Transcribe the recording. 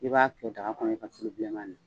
I b'a kɛ daga kɔnɔ i ka tulu bilenman